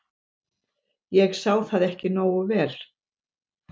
ég sá það ekki nógu vel.